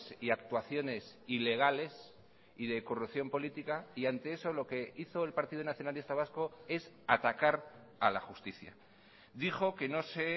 y actuaciones ilegales y de corrupción política y ante eso lo que hizo el partido nacionalista vasco es atacar a la justicia dijo que no se